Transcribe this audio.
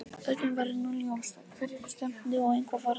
Öllum var nú ljóst að hverju stefndi og eitthvað varð að gera.